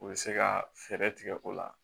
U bɛ se ka fɛɛrɛ tigɛ o la